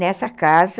Nessa casa,